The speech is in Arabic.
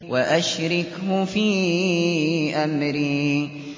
وَأَشْرِكْهُ فِي أَمْرِي